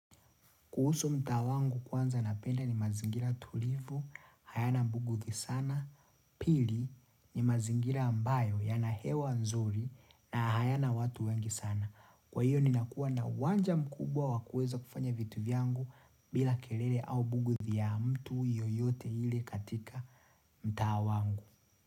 Kuhusu mtaa wangu kwanza napenda ni mazingira tulivu, hayana buguthi sana, pili ni mazingira ambayo yana hewa nzuri na hayana watu wengi sana. Kwa hiyo ninakuwa na uwanja mkubwa wa kuweza kufanya vitu vyangu bila kelele au buguthi ya mtu yoyote ile katika mtaa wangu.